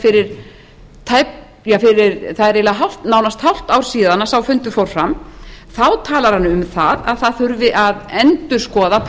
fyrir það er nánast hálft ár síðan sá fundur fór fram þá talar hann um að það þurfi að endurskoða